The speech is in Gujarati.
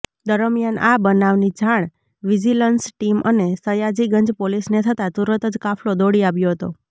દરમિયાન આ બનાવની જાણ વિજિલન્સ ટીમ અને સયાજીગંજ પોલીસને થતાં તુરતજ કાફલો દોડી આવ્યો હતો